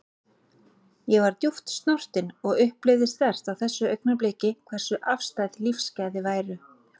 Ég var djúpt snortin og upplifði sterkt á þessu augnabliki hversu afstæð lífsgæði væru.